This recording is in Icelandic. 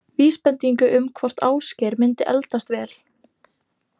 Vísbendingu um hvort Ásgeir myndi eldast vel?